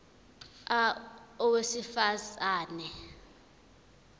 a owesifaz ane